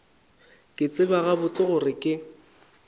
ke tseba gabotse gore ke